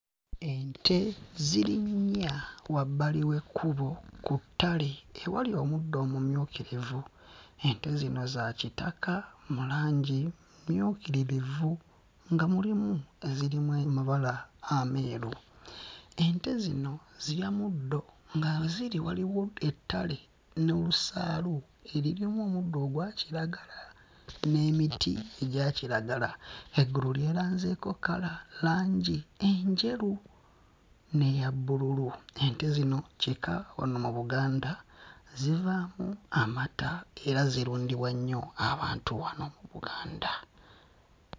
Ente ziri nnya wabbali w'ekkubo ku ttale ewali omuddo omumyukirivu. Ente zino za kitaka mu langi, mmyukiririvu nga mulimu ezirimu amabala ameeru. Ente zino zirya muddo nga we ziri waliwo ettale n'olusaalu eririmu omuddo ogwa kiragala n'emiti egya kiragala. Eggulu lyeranzeeko kkala langi enjeru n'eya bbululu. Ente zino kika wano mu Buganda, zivaamu amata era zirundibwa nnyo abantu wano mu Buganda.